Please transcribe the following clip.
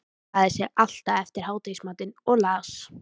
Hann lagði sig alltaf eftir hádegismatinn og las